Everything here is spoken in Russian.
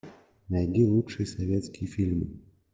найди лучшие советские фильмы